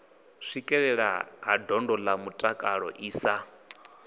swikelelea ha ndondolamutakalo i sa